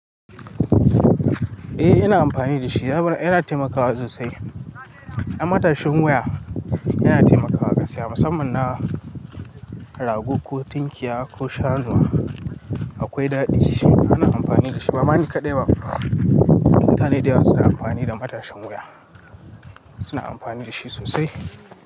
Eh ina amfani da shi, yana taimakawa sosai. Matashin wuya yana taimakawa gaskiya musamman na rago ko tunkiya ko shanu akwai daɗi shi ana amfani da shi. Bama ni kaɗai ba, mutane da yawa suna amfani da matashin wuya suna amfani da shi sosai.